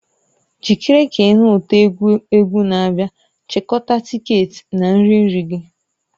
Jikere ka ị nụ ụtọ egwu egwu na-abịa; chịkọta tiketi na nri nri gị.